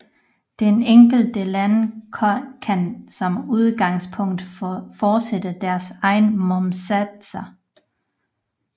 De enkelte lande kan som udgangspunkt fastsætte deres egne momssatser